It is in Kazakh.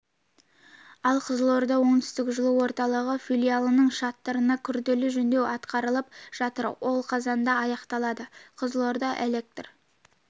ал қызылорда оңтүстік жылу орталығы филиалының шатырына күрделі жөндеу атқарылып жатыр ол қазанда аяқталады қызылорда электр